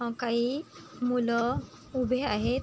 हा काही मूल उभे आहेत.